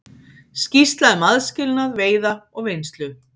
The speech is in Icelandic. Skýrsla um aðskilnað veiða og vinnslu